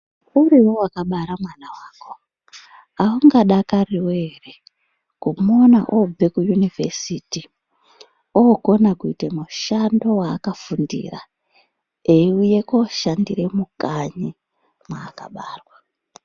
Uriwe wakabara mwana wako aungadakariwo ere kumuona obve kuyunivhesiti okona kuite mushando waakafundira eiuye koshandire mukanyi mwaakabarwa.